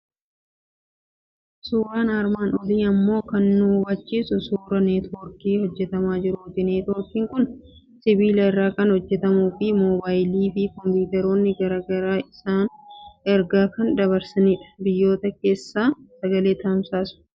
Suuraan armaan olii immoo kan nu hubachiisu suuraa neetwoorkii hojjetamaa jiruuti. Neetwoorkiin kun sibiila irraa kan hojjetamuu fi moobaayilii fi kompiitaroonni garaa garaa isaan ergaa kan dabarsanidha. Biyyoota keessa sagalee tamsaasu.